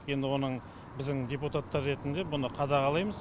енді оның біздің депутаттар ретінде бұны қадағалаймыз